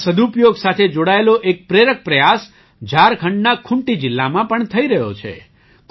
પાણીના સદુપયોગ સાથે જોડાયેલો એક પ્રેરક પ્રયાસ ઝારખંડના ખૂંટી જિલ્લામાં પણ થઈ રહ્યો છે